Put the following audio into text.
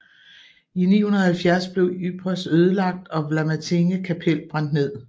I 970 blev Ypres ødelagt og Vlamertinge kapel brændt ned